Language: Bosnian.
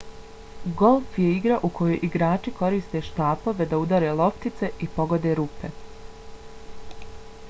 golf je igra u kojoj igrači koriste štapove da udare loptice i pogode rupe